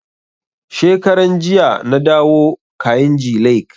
Shekaran jiya na dawo kainji lake